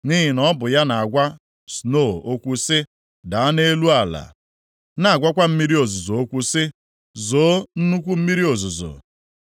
Nʼihi na ọ bụ ya na-agwa snoo okwu sị: ‘Daa nʼelu ala,’ na-agwakwa mmiri ozuzo okwu sị, ‘Zoo nnukwu mmiri ozuzo.’ + 37:6 Ghọọ oke mmiri ozuzo